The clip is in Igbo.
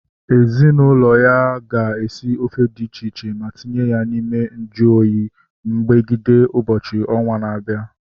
Ezinaụlọ ha ga-esi ofe dị iche iche ma tinye ya n'ime ìgwè nju oyi megide ụbọchị ọnwa na-abịa